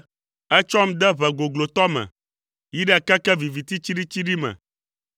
Ètsɔm de ʋe goglotɔ me, yi ɖe keke viviti tsiɖitsiɖi me.